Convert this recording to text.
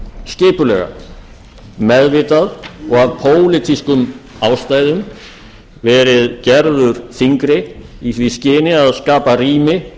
og af pólitískum ástæðum verið gerður þyngri í því skyni að skapa rými